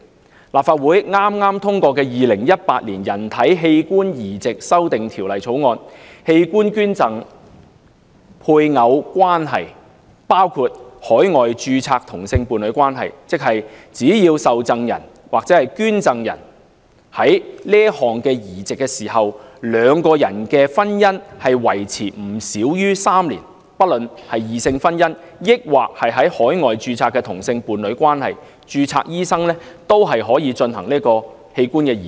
根據立法會剛通過的《2018年人體器官移植條例草案》，器官捐贈配偶關係包括海外註冊同性伴侶關係，即只要受贈人或捐贈人進行此項移植時，兩人的婚姻維持不少於3年，不論異性婚姻還是在海外註冊的同性伴侶關係，註冊醫生都可以進行器官移植。